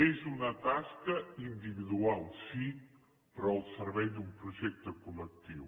és una tasca individual sí però al servei d’un projecte col·lectiu